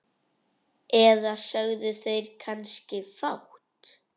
Eða sögðu þeir kannski fátt?